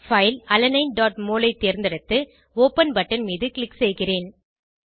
file alanineமோல் ஐ தேர்ந்தெடுத்து ஒப்பன் பட்டன் மீது க்ளிக் செய்கிறேன்